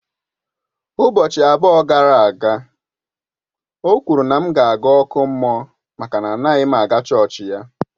Ụbọchị abụọ gara aga, o kwuru na á ga m aga ọkụ mmụọ maka anaghị m aga chọọchị ya.